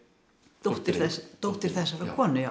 dóttir dóttir þessarar konu já